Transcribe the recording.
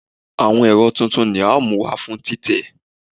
Awọn ẹrọ titun ni a mu wa fun titẹ